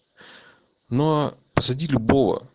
но посадить любова